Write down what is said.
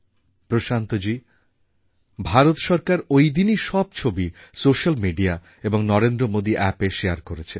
প্রশান্তজী ভারত সরকার ঐদিনই সব ছবি সোস্যাল মিডিয়া এবং নরেন্দ্রমোদী অ্যাপএ শেয়ার করেছে